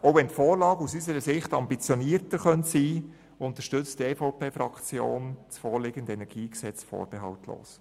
Auch wenn die Vorlage aus Sicht der EVP-Fraktion ambitionierter sein könnte, unterstützt sie das vorliegende KEnG dennoch vorbehaltlos.